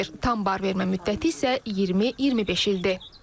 Tam barvermə müddəti isə 20-25 ildir.